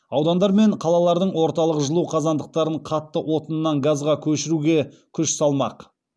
аудандар мен қалалардың орталық жылу қазандықтарын қатты отыннан газға көшіруге күш салмақ